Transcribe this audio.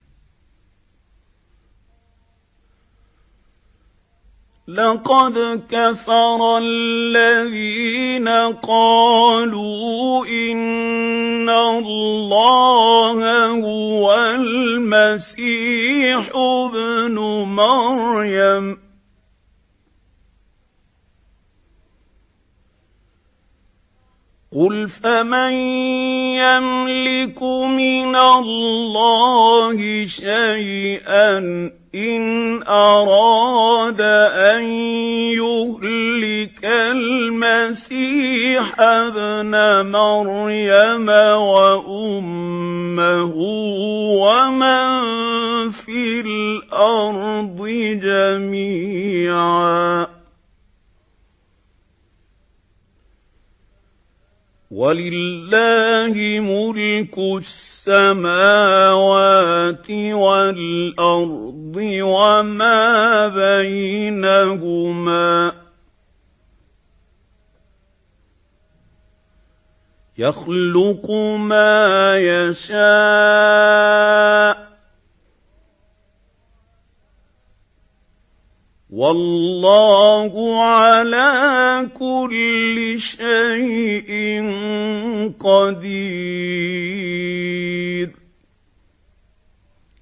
لَّقَدْ كَفَرَ الَّذِينَ قَالُوا إِنَّ اللَّهَ هُوَ الْمَسِيحُ ابْنُ مَرْيَمَ ۚ قُلْ فَمَن يَمْلِكُ مِنَ اللَّهِ شَيْئًا إِنْ أَرَادَ أَن يُهْلِكَ الْمَسِيحَ ابْنَ مَرْيَمَ وَأُمَّهُ وَمَن فِي الْأَرْضِ جَمِيعًا ۗ وَلِلَّهِ مُلْكُ السَّمَاوَاتِ وَالْأَرْضِ وَمَا بَيْنَهُمَا ۚ يَخْلُقُ مَا يَشَاءُ ۚ وَاللَّهُ عَلَىٰ كُلِّ شَيْءٍ قَدِيرٌ